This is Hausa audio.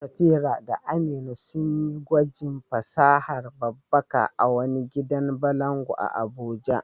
Safira da Amina sun yi gwajin fasahar babbaka a wani gidan balangu a Abuja.